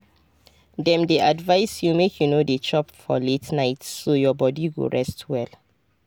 dem dey advise you make you no dey chop for late night so your body go rest well.